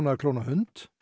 að klóna hund